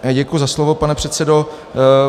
Děkuji za slovo, pane předsedo.